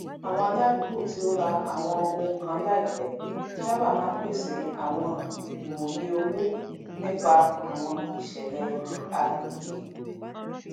àwọn aládùúgbò tí ó rà àwọn ohun kan laipẹ sábà máa ń pèsè àwọn ìmòye owó nípa àwọn iṣẹlẹ agbègbè